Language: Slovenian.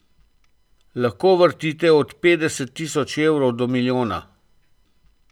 Lahko vrtite od petdeset tisoč evrov do milijona.